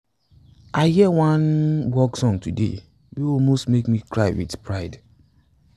i hear one work song today wey almost make me dey cry wit pride